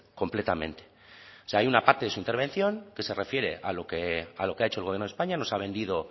completamente o sea hay una parte de su intervención que se refiere a lo que ha hecho el gobierno de españa nos ha vendido